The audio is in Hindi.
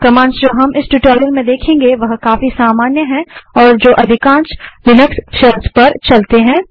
कमांड्स जो हम इस ट्यूटोरियल में देखेंगे वह काफी सामान्य हैं और जो अधिकांश लिनक्स शेल्स पर चलती हैं